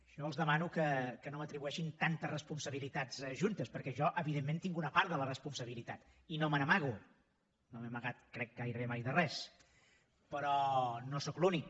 jo els demano que no m’atribueixin tantes responsabilitats juntes perquè jo evidentment tinc una part de la responsabilitat i no me n’amago no m’he amagat crec gairebé mai de res però no sóc l’únic